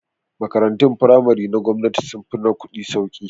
Makarantun firamare na gwamnati sun fi na kuɗi sauki